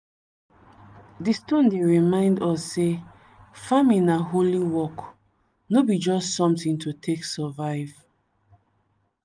di stone dey remind us say farming na holy work no be just something to take survive.